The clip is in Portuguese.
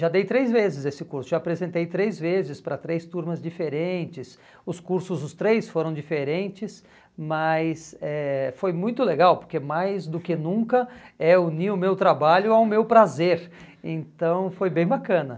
Já dei três vezes esse curso, já apresentei três vezes para três turmas diferentes, os cursos, os três foram diferentes, mas foi eh muito legal, porque mais do que nunca é unir o meu trabalho ao meu prazer, então foi bem bacana.